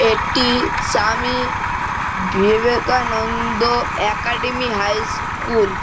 এটি Swami Vivekananda academy high school.